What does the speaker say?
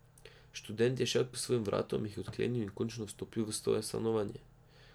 Študent je šel k svojim vratom, jih odklenil in končno vstopil v svoje stanovanje.